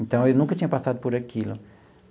Então, eu nunca tinha passado por aquilo.